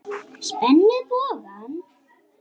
Spenni bogann.